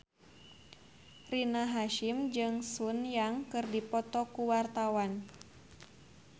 Rina Hasyim jeung Sun Yang keur dipoto ku wartawan